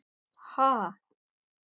Ha?!